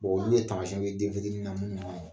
olu ye tamasiɛnw ye u ye den fitinin munnu manɲin.